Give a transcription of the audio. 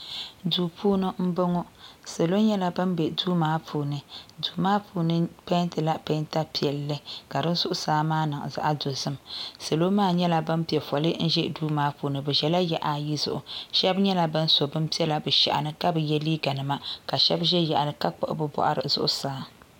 Duu puuni m bɔŋɔ salo nyɛla ban be duu maa aaaaa duu maa puuni peentila peenta piiɛlli ka di zuɣusaa maa niŋ zaɣ dɔzim salo maa nyɛla ban pɛ fɔli n ʒɛ duu maa puuni bɛ ʒɛla yaɣa ayi zuɣu shɛbi nyɛla ban so binpiɛla bɛ shɛhi ni ka bi yɛ liiganima ka shɛbi ʒɛ yaɣili ka kpuɣi bɛ bɔɣiri zuɣusaa.